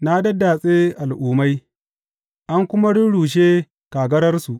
Na daddatse al’ummai; an kuma rurrushe kagararsu.